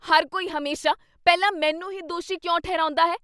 ਹਰ ਕੋਈ ਹਮੇਸ਼ਾ, ਪਹਿਲਾ ਮੈਨੂੰ ਹੀ ਦੋਸ਼ੀ ਕਿਉਂ ਠਹਿਰਾਉਂਦਾ ਹੈ?